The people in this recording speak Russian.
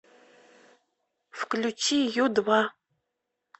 включи ю два